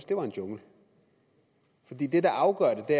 det var en jungle fordi det der afgør det